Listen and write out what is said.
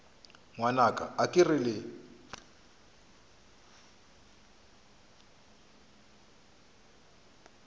ngwanaka a ke re le